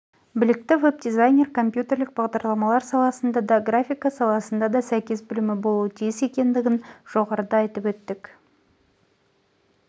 білікті веб-дизайнер компьютерлік бағдарламалар саласында да графика саласында да сәйкес білімі болуы тиіс екендігін жоғарыда айтып өттік